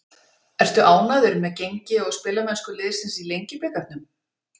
Ertu ánægður með gengi og spilamennsku liðsins í Lengjubikarnum?